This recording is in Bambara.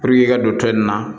i ka don to in na